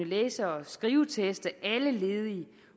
læse og skriveteste alle ledige